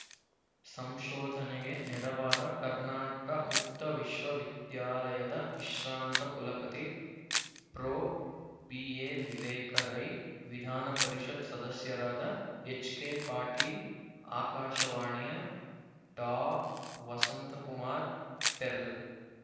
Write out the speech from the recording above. ಸಂಶೋಧನೆಗೆ ನೆರವಾದ ಕರ್ನಾಟ ಮುಕ್ತ ವಿಶ್ವವಿದ್ಯಾಲಯದ ವಿಶ್ರಾಂತ ಕುಲಪತಿ ಪ್ರೊ ಬಿಎ ವಿವೇಕ ರೈ ವಿಧಾನ ಪರಿಷತ್ ಸದಸ್ಯರಾದ ಎಚ್ಕೆ ಪಾಟೀಲ್ ಆಕಾಶವಾಣಿಯ ಡಾ ವಸಂತಕುಮಾರ್ ಪೆರ್ಲ